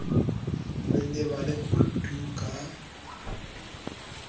re lebale ho tu ka